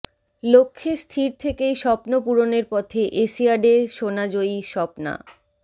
লক্ষ্যে স্থির থেকেই স্বপ্ন পূরণের পথে এশিয়াডে সোনা জয়ী স্বপ্না